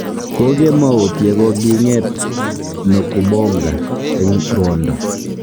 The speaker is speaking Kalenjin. Kokemout ye kogiing'et Nokubonga eng rwondo